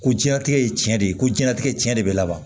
Ko diɲɛlatigɛ ye tiɲɛ de ye ko diɲɛlatigɛ cɛn de bɛ laban